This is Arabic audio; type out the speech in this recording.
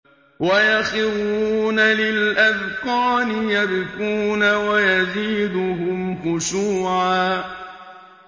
وَيَخِرُّونَ لِلْأَذْقَانِ يَبْكُونَ وَيَزِيدُهُمْ خُشُوعًا ۩